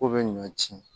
Ko bɛ ɲɔ ci